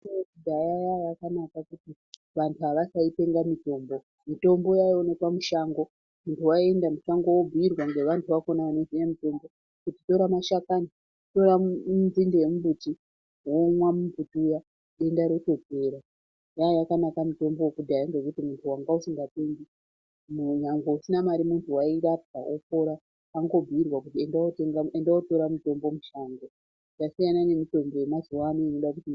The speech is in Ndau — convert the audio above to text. Mitombo yekudhaya yanga yakanaka nekuti vanhu avasaitenga mutombo, mutombo waioneka mushango, munhu waienda mushango wobhuyirwa ngevanhu vakona vanoziye mutombo, kuti tora mashakani ,tora nzinde yemumbiti womwa mumbuti uya denda rotopera, yaiya yakanaka mitombo yekudhaya ngekuti munhu wanga usingatengi, nyangwe usina mare munhu wairapwa wopora wangobhuyirwa kuti endawotora muti mushango, yasina nemitombo yemazuano....